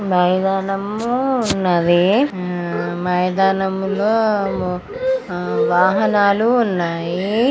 మైదానము ఉన్నది. ఆ మైదానములో హ్మ్మ్ ఆ వాహనాలు ఉన్నాయి.